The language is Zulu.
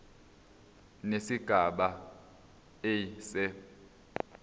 nesigaba a se